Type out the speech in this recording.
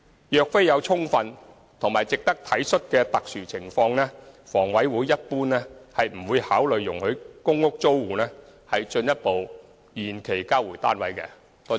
若非有充分及值得體恤的特殊情況，房委會一般不會考慮容許公屋租戶進一步延期交回單位。